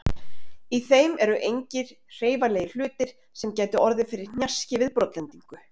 Í þeim eru engir hreyfanlegir hlutir sem gætu orðið fyrir hnjaski við brotlendingu.